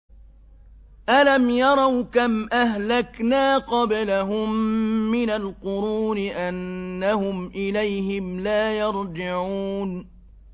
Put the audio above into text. أَلَمْ يَرَوْا كَمْ أَهْلَكْنَا قَبْلَهُم مِّنَ الْقُرُونِ أَنَّهُمْ إِلَيْهِمْ لَا يَرْجِعُونَ